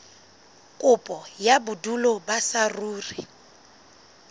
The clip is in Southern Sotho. kopo ya bodulo ba saruri